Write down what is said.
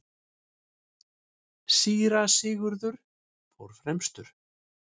Síra Sigurður fór fremstur.